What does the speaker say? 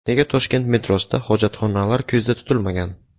Nega Toshkent metrosida hojatxonalar ko‘zda tutilmagan?.